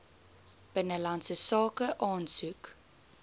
binnelandse sake aansoek